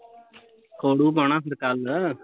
ਖੋਰੁ ਪਾਉਣਾ ਫਿਰ ਕੱਲ